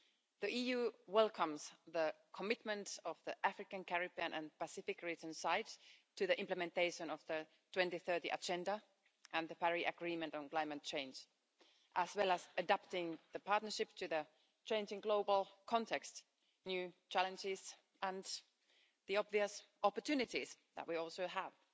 The EU welcomes the commitment of the African, Caribbean and Pacific region's side to the implementation of the 2030 Agenda and the Paris Agreement on climate change, as well as adapting the partnership to the changing global context, new challenges and the obvious opportunities that we also have.